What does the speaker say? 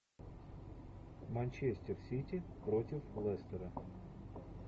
манчестер сити против лестера